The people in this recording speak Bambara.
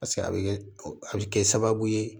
a bɛ kɛ a bɛ kɛ sababu ye